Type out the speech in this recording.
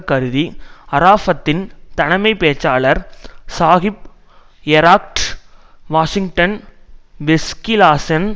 கருதி அராஃபத்தின் தலைமை பேச்சாளர் சாஹிப் எரக்ட் வாஷிங்டன் வெஸ்கிளாஸன்